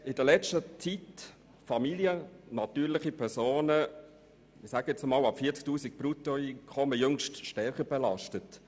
Man hat in der letzten Zeit Familien, das heisst natürliche Personen, ab etwa 40 000 Franken Bruttoeinkommen stärker belastet.